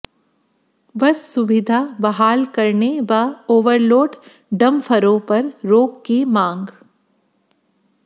बस सुविधा बहाल करने व ओवरलोड डंफरों पर रोक की मांग